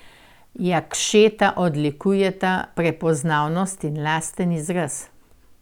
Jakšeta odlikujeta prepoznavnost in lasten izraz.